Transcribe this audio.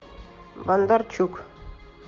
бондарчук